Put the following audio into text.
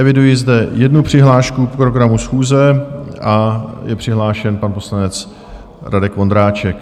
Eviduji zde jednu přihlášku k programu schůze, je přihlášen pan poslanec Radek Vondráček.